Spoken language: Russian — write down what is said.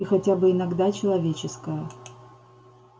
и хотя бы иногда человеческая